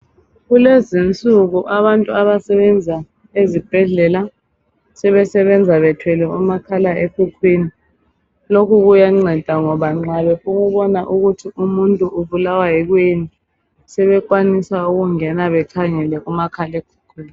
Kulezinsuku abantu abasebenza ezibhedlela sebesebenza bethwele omakhalekhukhwini lokhu kuyanceda ngoba nxa befuna ukubona ukuthi umuntu ubulawa yikuyini sebekwanisa ukungena bekhangele kumakhalekhukhwini